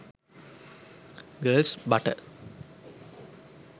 girls bata